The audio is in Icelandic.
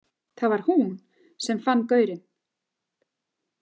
Það var hún sem fann gaurinn?